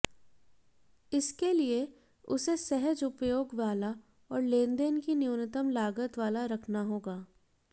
इसके लिए उसे सहज उपयोग वाला और लेनदेन की न्यूनतम लागत वाला रखना होगा